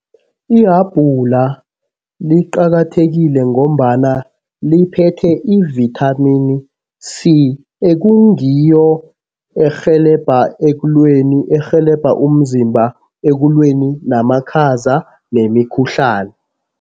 Ihabhula liqakathekile ngombana liphethe ivithamini C ekungiyo erhelebha ekulweni, erhelebha umzimba ekulweni namakhaza nemikhuhlani.